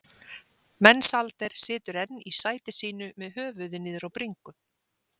Mensalder situr enn í sæti sínu með höfuðið niður á bringu.